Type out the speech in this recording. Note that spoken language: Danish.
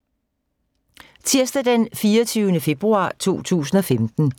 Tirsdag d. 24. februar 2015